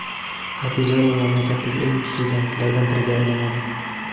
Natijada u mamlakatdagi eng kuchli jangchilardan biriga aylanadi.